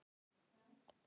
Þetta er erfitt að skilja.